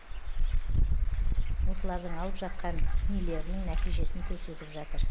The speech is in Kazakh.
осылардың алып жатқан нелерінің нәтижесін көрсетіп жатыр